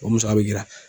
O musaka bɛ jira